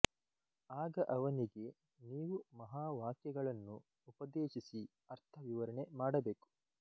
ಆಗ ಅವನಿಗೆ ನೀವು ಮಹಾವಾಕ್ಯಗಳನ್ನು ಉಪದೇಶಿಸಿ ಅರ್ಥ ವಿವರಣೆ ಮಾಡಬೇಕು